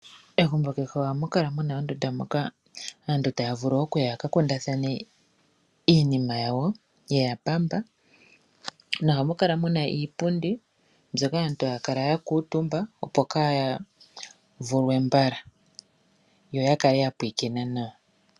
Megumbo kehe ohamu kala mu na ondunda moka aantu taya vulu okuya ya ka kundathane iinima yawo ye ya pamba nohamu kala mu na iipundi mbyoka aantu haya kala ya kuundumba, opo kaya vulwe mbala yo ya kale ya pulakena nawa.